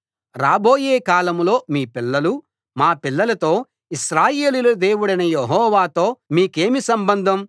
రాబోయే కాలంలో మీ పిల్లలు మా పిల్లలతో ఇశ్రాయేలీయుల దేవుడైన యెహోవాతో మీకేమి సంబంధం